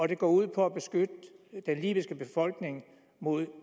det går ud på at beskytte den libyske befolkning mod